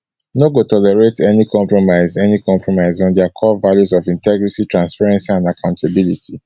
no go tolerate any compromise any compromise on dia core values of integrity transparency and accountability